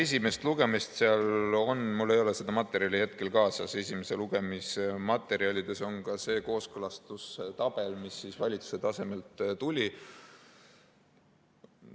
Esimese lugemise materjalides, mul ei ole seda materjali hetkel kaasas, on ka see kooskõlastustabel, mis valitsuselt tuli.